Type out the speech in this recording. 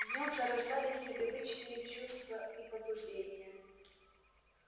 в нем зарождались непривычные чувства и побуждения